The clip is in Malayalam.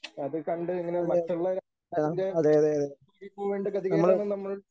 അത് കണ്ട് ഇങ്ങനെ മറ്റുള്ള ഇതിൻറെ ഗതികേടാണ് നമ്മൾ